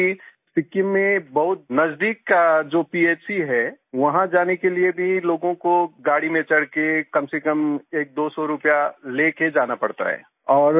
क्या है कि सिक्किम में बहुत नजदीक का जो पीएचसी है वहाँ जाने के लिए भी लोगों को गाड़ी में चढ़ के कमसेकम एकदो सौ रूपया ले के जाना पड़ता है